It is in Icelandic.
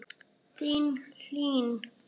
Þín Hlín.